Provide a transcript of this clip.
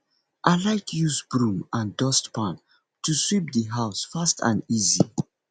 i like use broom and dustpan to sweep di house fast and easy